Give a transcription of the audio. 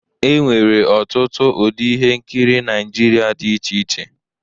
E nwere ọtụtụ ụdị ihe nkiri Naịjirịa dị iche iche.